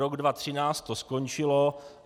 Rok 2013 to skončilo.